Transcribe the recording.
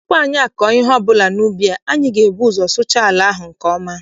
Tupu anyị akọọ ihe ọbụla n'ubi, anyị ga- ebu ụzọ sụchaa ala ahụ nke ọma.